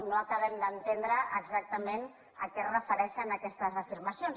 no acabem d’entendre exactament a què es refereixen aquestes afirmacions